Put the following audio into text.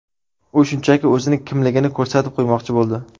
U shunchaki o‘zining kimligini ko‘rsatib qo‘ymoqchi bo‘ldi.